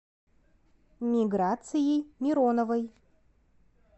миграцией мироновой